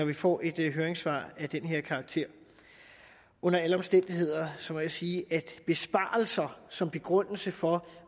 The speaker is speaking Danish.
vi får et høringssvar af den her karakter under alle omstændigheder må jeg sige at besparelser som begrundelse for